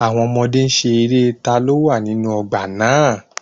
Àwọn ọmọdé n ṣe eré "ta ló wà nínú ọgbà náà"